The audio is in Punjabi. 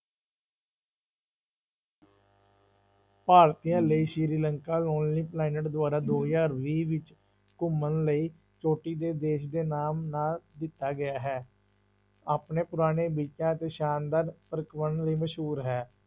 ਭਾਰਤੀਆਂ ਲਈ ਸ੍ਰੀ ਲੰਕਾ ਦੁਆਰਾ ਦੋ ਹਜ਼ਾਰ ਵੀਹ ਵਿੱਚ ਘੁੰਮਣ ਲਈ ਚੋਟੀ ਦੇ ਦੇਸ ਦੇ ਨਾਮ ਨਾਲ ਦਿੱਤਾ ਗਿਆ ਹੈ, ਆਪਣੇ ਪੁਰਾਣੇ ਤੇ ਸ਼ਾਨਦਾਰ ਲਈ ਮਸ਼ਹੂਰ ਹੈ।